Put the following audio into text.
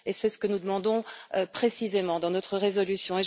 C'est ce que nous demandons précisément dans notre résolution.